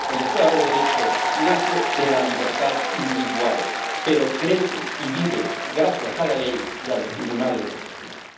El Estado de Derecho nace de la libertad individual, pero crece y vive gracias a la ley y a los tribunales de justicia.